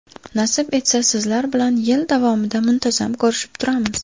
Nasib etsa, sizlar bilan yil davomida muntazam ko‘rishib turamiz.